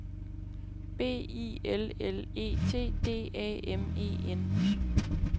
B I L L E T D A M E N